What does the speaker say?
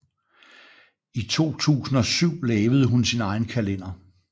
I 2007 lavede hun sin egen kalender